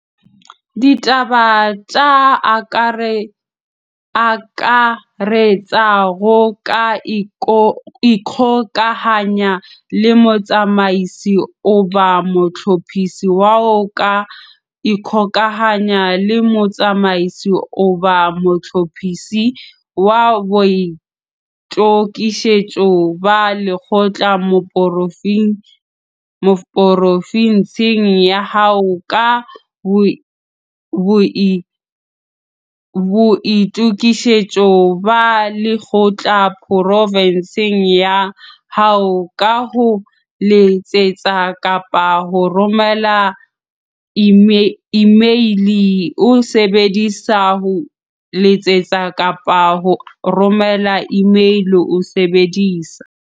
DITABA TSE AKARETSANGO ka ikgokahanya le Motsamaisi-Mohlophisi wa O ka ikgokahanya le Motsamaisi-Mohlophisi wa Boitokisetso ba Lekgotla porofinsing ya hao ka Boitokisetso ba Lekgotla porofinsing ya hao ka ho letsetsa kapa ho romela imeile o sebedisa ho letsetsa kapa ho romela imeile o sebedisa